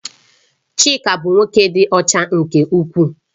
Chika bụ nwoke dị ọcha nke ukwuu